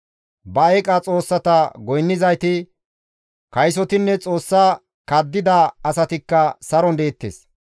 Ba eeqa xoossata goynnizayti, kaysotinne xoossa kaddida asatikka saron deettes.